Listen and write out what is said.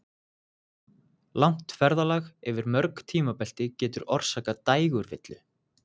Langt ferðalag yfir mörg tímabelti getur orsakað dægurvillu.